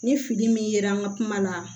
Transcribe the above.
Ni fini min ye an ka kuma la